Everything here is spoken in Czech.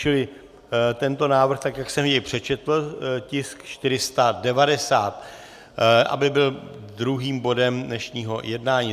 Čili tento návrh, tak jak jsem jej přečetl, tisk 490, aby byl druhým bodem dnešního jednání.